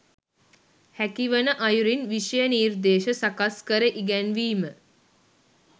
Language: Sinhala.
හැකි වන අයුරින් විෂය නිර්දේශ සකස්කර ඉගැන්වීම